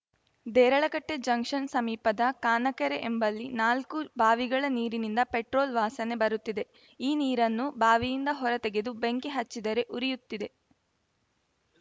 ದೇರಳಕಟ್ಟೆಜಂಕ್ಷನ್‌ ಸಮೀಪದ ಕಾನಕೆರೆ ಎಂಬಲ್ಲಿ ನಾಲ್ಕು ಬಾವಿಗಳ ನೀರಿನಿಂದ ಪೆಟ್ರೋಲ್‌ ವಾಸನೆ ಬರುತ್ತಿದೆ ಈ ನೀರನ್ನು ಬಾವಿಯಿಂದ ಹೊರ ತೆಗೆದು ಬೆಂಕಿ ಹಚ್ಚಿದರೆ ಉರಿಯುತ್ತಿದೆ